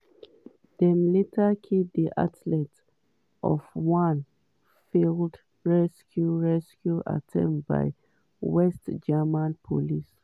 dem later kill di athletes for one failed rescue rescue attempt by west german police.